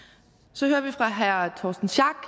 så hører vi fra herre torsten schack